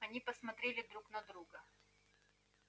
они посмотрели друг на друга